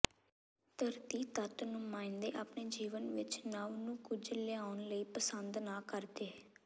ਧਰਤੀ ਤੱਤ ਨੁਮਾਇੰਦੇ ਆਪਣੇ ਜੀਵਨ ਵਿੱਚ ਨਵ ਨੂੰ ਕੁਝ ਲਿਆਉਣ ਲਈ ਪਸੰਦ ਨਾ ਕਰਦੇ